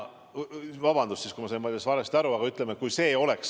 Vabandust, kui ma sain valesti aru.